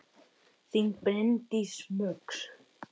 Þín Bryndís Muggs.